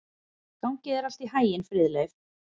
Gangi þér allt í haginn, Friðleif.